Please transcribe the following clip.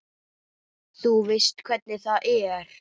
Þú veist hvernig það er.